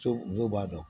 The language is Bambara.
So dɔw b'a dɔn